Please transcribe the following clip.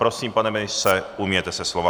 Prosím, pane ministře, ujměte se slova.